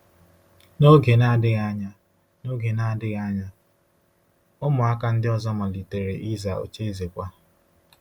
N’oge na-adịghị anya, N’oge na-adịghị anya, ụmụaka ndị ọzọ malitere ịza ocheeze kwa.